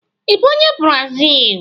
Ị bụ onye brazili?